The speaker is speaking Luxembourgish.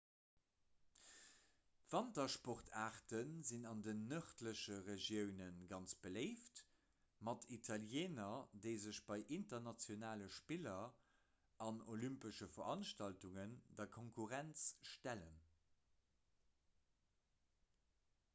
wantersportaarte sinn an den nërdleche regiounen ganz beléift mat italieener déi sech bei internationale spiller an olympesche veranstaltungen der konkurrenz stellen